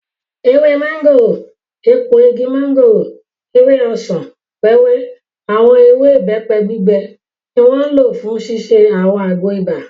Ewé mọ́ngòrò, èpo igi mọ́ngòrò, ewé ọsàn-wẹ́wẹ́, àwọn ewé ìbẹ́pẹ gbígbẹ ni wọ́n lò fún ṣíṣe àwọn àgbo ibà